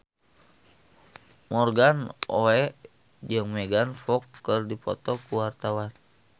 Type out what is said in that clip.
Morgan Oey jeung Megan Fox keur dipoto ku wartawan